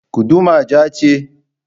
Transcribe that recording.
Guduma ja ce?